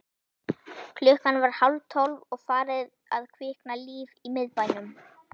Klukkan var hálftólf og farið að kvikna líf í miðbænum.